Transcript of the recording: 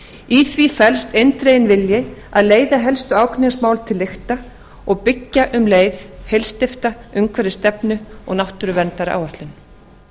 í því felst eindreginn vilji að leiða helstu ágreiningsmál til lykta og byggja um leið heilsteypta umhverfisstefnu og náttúruverndaráætlun